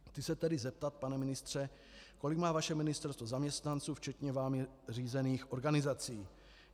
Chci se tedy zeptat, pane ministře, kolik má vaše ministerstvo zaměstnanců, včetně vámi řízených organizací.